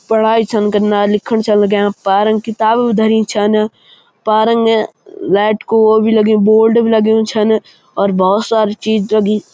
पढाई छन कनालिखण छन लग्यां पारंग किताब भी धरी छन. पारंग लैट को वो भी लग्युं बोर्ड भी लग्युं छन और भोत सारी चीज लगीं।